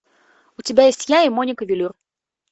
у тебя есть я и моника велюр